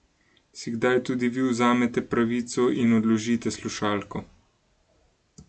Si kdaj tudi vi vzamete pravico in odložite slušalko?